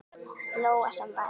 Lóa: Sem var?